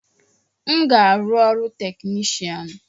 M ga-arụ ọrụ technishan